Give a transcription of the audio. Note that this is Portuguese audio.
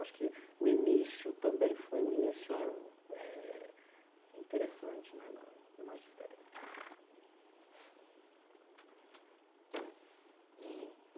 Acho que o início também foi um início eh interessante né no no magistério. E